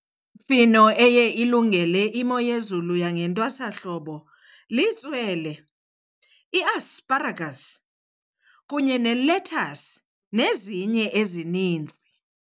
Imifino eya ilungele imo yezulu yangentwasahlobo litswele, iasparagasi kunye nelethasi, nezinye ezininzi.